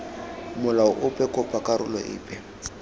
molao ope kopa karolo epe